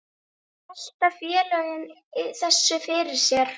Velta félögin þessu fyrir sér?